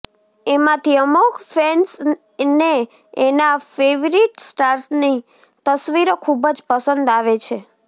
એમાંથી અમુક ફેંસ ને એના ફેવરીટ સ્ટાર્સ ની તસ્વીરો ખુબ જ પસંદ આવે છે